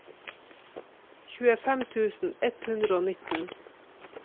tjuefem tusen ett hundre og nitten